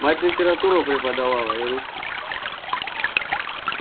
мать литературу преподавала и русский